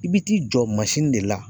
I bi t'i jɔ de la.